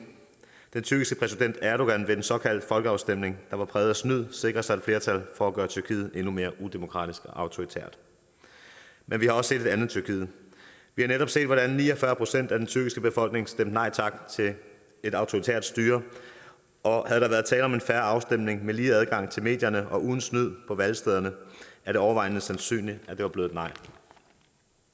tyrkiske præsident erdogan ved den såkaldte folkeafstemning der var præget af snyd sikre sig et flertal for at gøre tyrkiet endnu mere udemokratisk og autoritært men vi har også set et andet tyrkiet vi har netop set hvordan ni og fyrre procent af den tyrkiske befolkning stemte nej tak til et autoritært styre og havde der været tale om en fair afstemning med lige adgang til medierne og uden snyd på valgstederne er det overvejende sandsynligt at det var blevet